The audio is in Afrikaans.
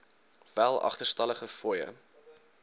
wel agterstallige fooie